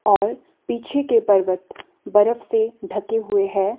और पीछे के पर्वत बर्फ से ढके हुए हैं।